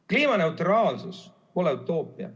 Kliimaneutraalsus pole utoopia.